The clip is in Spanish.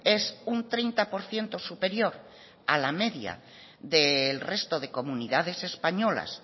es un treinta por ciento superior a la media del resto de comunidades españolas